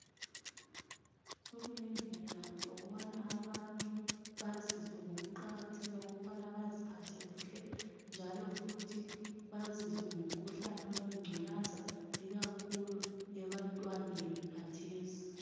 Sokulendlela zokubana abantu bazizwe ngokuqakatheka okubana baziphathe kuhle njalo futhi baziswe ngomkhuhlane wengculaza ikakhulu ebantwaneni khathesi.